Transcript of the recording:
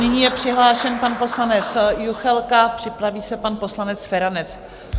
Nyní je přihlášen pan poslanec Juchelka, připraví se pan poslanec Feranec.